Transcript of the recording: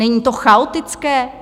Není to chaotické?